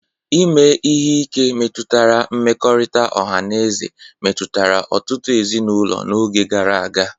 Ime ihe ike metụtara mmekọrịta ọha na eze metụtara ọtụtụ ezinụlọ n'oge gara aga.